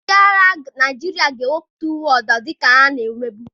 Ndị agha Naịjirịa ga-ewepụta uwe ọzọ dịka ha na-emebu.